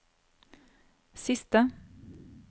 siste